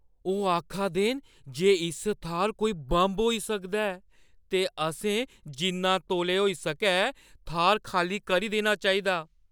ओह् आखा दे न जे इस थाह्‌र कोई बम होई सकदा ऐ ते असें जिन्ना तौले होई सकै थाह्‌र खाल्ली करी देना चाहिदा।